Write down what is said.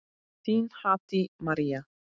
Þín, Haddý María.